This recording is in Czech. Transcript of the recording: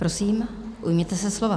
Prosím, ujměte se slova.